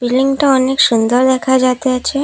বিল্ডিংটা অনেক সুন্দর দেখা যাইতেছে।